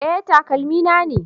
Eh, takalmi na ne